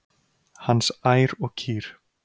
Hans ær og kýr.